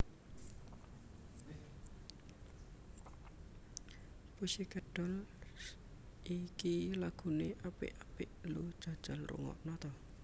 Pussycat Dolls iki lagune apik apik lho jajal rungokno ta